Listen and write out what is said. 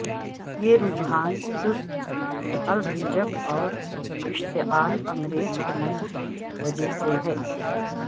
یہ رجحان سست الرجک اور اشتعال انگیز عمل کی وجہ سے ہے